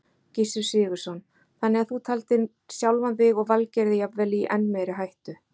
Gissur Sigurðsson: Þannig að þú taldir sjálfan þig og Valgerði jafnvel í enn meiri hættu?